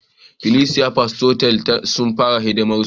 Ikilisiyar Pentikostal sun fara hidimarsu